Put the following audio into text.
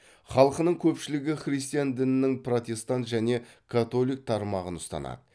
халқының көпшілігі христиан дінінің протестант және католик тармағын ұстанады